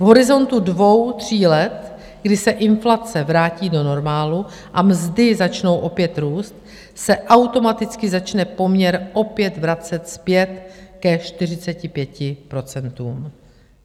V horizontu dvou, tří let, kdy se inflace vrátí do normálu a mzdy začnou opět růst, se automaticky začne poměr opět vracet zpět ke 45 procentům.